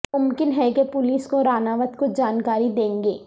ممکن ہے کہ پولیس کو راناوت کچھ جانکاری دیں گے